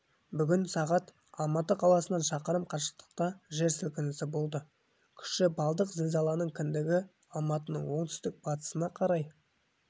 бүгін сағат алматы қаласынан шақырым қашықтықта жер сілкінісі болды күші балдық зілзаланың кіндігі алматының оңтүстік-батысына қарай